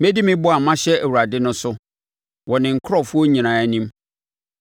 Mɛdi me bɔ a mahyɛ Awurade no so wɔ ne nkurɔfoɔ nyinaa anim,